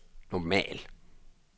normal